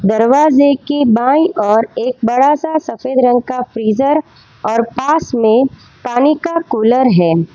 दरवाजे के बाई ओर एक बड़ा सा सफेद रंग का फ्रीजर और पास में पानी का कूलर है।